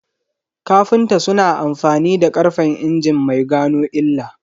Kafinta suna amfani da karfen injin mai gano illa